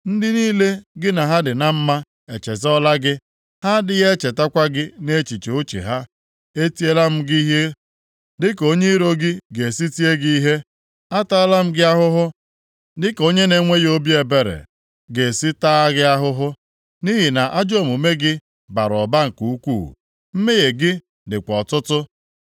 Ndị niile gị na ha dị na mma e chezọọla gị; ha adịghị echetakwa gị nʼechiche uche ha. E tieela m gị ihe dịka onye iro gị ga-esi tie gị ihe; ataala m gị ahụhụ dịka onye na-enweghị obi ebere ga-esi taa gị ahụhụ, nʼihi na ajọ omume gị bara ụba nke ukwuu, mmehie gị dịkwa ọtụtụ.